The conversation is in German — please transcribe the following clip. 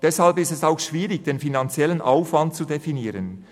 Deshalb ist es auch schwierig, den finanziellen Aufwand zu definieren.